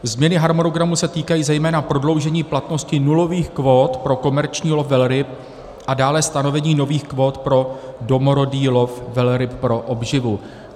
Změny harmonogramu se týkají zejména prodloužení platnosti nulových kvót pro komerční lov velryb a dále stanovení nových kvót pro domorodý lov velryb pro obživu.